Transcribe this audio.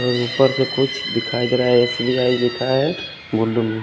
और उपर से कुछ दिखाई देरा है--